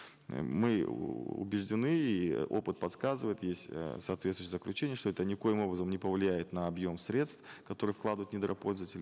э мы убеждены и опыт подсказывает есть э соответствующие заключения что это никоим образом не повлияет на объем средств которые вкладывает недропользователь